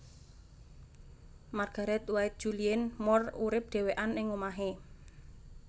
Margaret White Julianne Moore urip dhewekan ing omahe